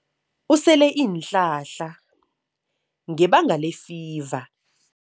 Usele iinhlahla ngebanga lefiva.